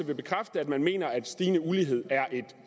vil bekræfte at man mener at stigende ulighed er et